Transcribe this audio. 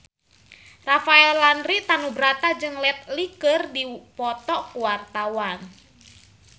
Rafael Landry Tanubrata jeung Jet Li keur dipoto ku wartawan